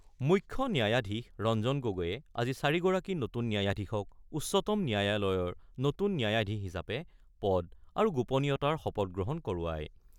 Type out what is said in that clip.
মুখ্য ন্যায়াধীশ ৰঞ্জন গগৈয়ে আজি চাৰিগৰাকী নতুন ন্যায়াধীশক উচ্চতম ন্যায়ালয়ৰ নতুন ন্যায়াধীশ হিচাপে পদ আৰু গোপনীয়তাৰ শপত গ্ৰহণ কৰোৱায়।